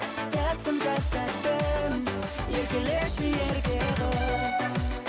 тәттім тәп тәттім еркелеші ерке қыз